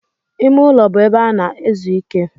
Ime ụlọ bụ ebe a na-ezu ike.